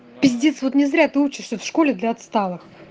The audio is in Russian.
пиздец вот не зря ты учишься в школе для отсталых